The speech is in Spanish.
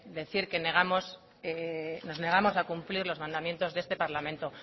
decir que nos negamos a cumplir los mandamientos de este parlamento